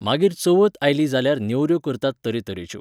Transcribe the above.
मागीर चवथ आयली जाल्यार नेवऱ्यो करतात तरे तरेच्यो.